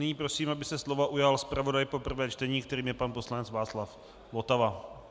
Nyní prosím, aby se slova ujal zpravodaj pro prvé čtení, kterým je pan poslanec Václav Votava.